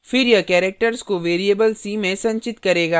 फिर यह characters को variable c में संचित करेगा